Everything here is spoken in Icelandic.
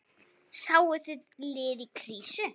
Sáuð þið lið í krísu?